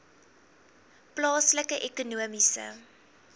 plaaslike ekonomiese